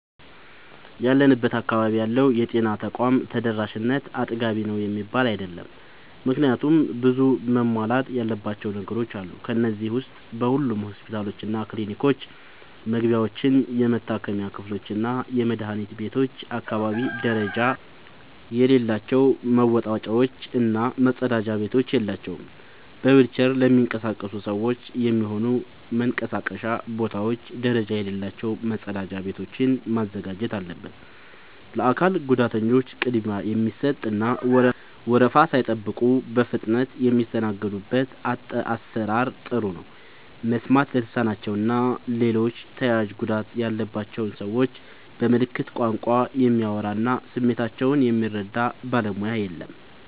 ያለንበት አካባቢ ያለው የጤና ተቋም ተደራሽነት አጥጋቢ ነው የሚባል አይደለም። ምክንያቱም ብዙ መሟላት ያለባቸው ነገሮች አሉ። ከነዚህ ዉስጥ በሁሉም ሆስፒታሎችና ክሊኒኮች መግቢያዎች፣ የመታከሚያ ክፍሎችና የመድኃኒት ቤቶች አካባቢ ደረጃ የሌላቸው መወጣጫዎች እና መጸዳጃ ቤቶች የላቸውም። በዊልቸር ለሚንቀሳቀሱ ሰዎች የሚሆኑ መንቀሳቀሻ ቦታዎች ደረጃ የሌላቸው መጸዳጃ ቤቶችን ማዘጋጀት አለበት። ለአካል ጉዳተኞች ቅድሚያ የሚሰጥ እና ወረፋ ሳይጠብቁ በፍጥነት የሚስተናገዱበት አሰራር ጥሩ ነው። መስማት ለተሳናቸው እና ሌሎች ተያያዥ ጉዳት ያለባቸውን ሰዎች በምልክት ቋንቋ የሚያወራ እና ስሜታቸውን የሚረዳ ባለሙያ የለም።